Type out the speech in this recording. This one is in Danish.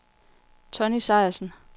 Tonny Sejersen